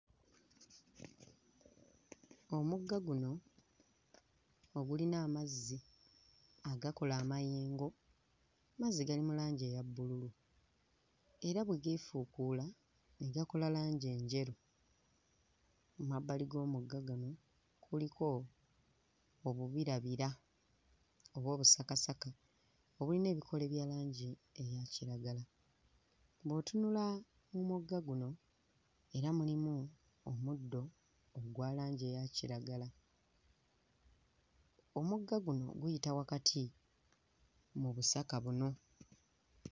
Omugga guno ogulina amazzi agakola amayengo, mazzi gali mu langi eya bbululu era bwe geefuukuula ne gakola langi enjeru. Emabbali g'omugga guno kuliko obubirabira oba obusakasaka obulina ebikoola bya langi eya kiragala. Bw'otunula mu mugga guno era mulimu omuddo ogwa langi eya kiragala. Omugga guno guyita wakati mu busaka buno.